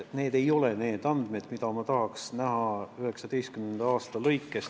Need ei ole need andmed, mida ma tahaks näha 2019. aasta kohta.